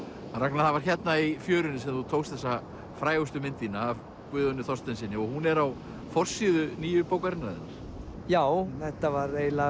Ragnar það var hérna í fjörunni sem þú tókst þessa frægustu mynd þína af Guðjóni Þorsteinssyni og hún er á forsíðu nýju bókarinnar já þetta var eiginlega